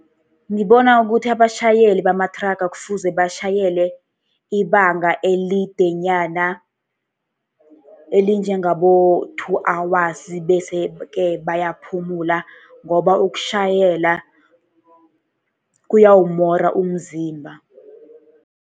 Ngibona ukuthi abatjhayeli bamathraga kufuze batjhayele ibanga elidenyana, elinjengabo-two hours, bese-ke bayaphumula. Ngoba ukutjhayela kuyawumora umzimba.